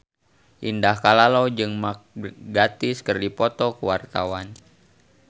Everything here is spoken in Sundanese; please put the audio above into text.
Indah Kalalo jeung Mark Gatiss keur dipoto ku wartawan